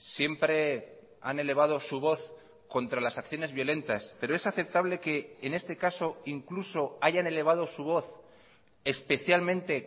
siempre han elevado su voz contra las acciones violentas pero es aceptable que en este caso incluso hayan elevado su voz especialmente